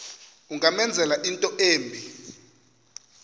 ungamenzela into embi